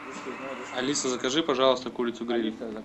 алиса закажи пожалуйста курицу гриль